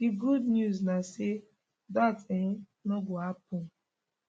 di good news na say dat um no go happun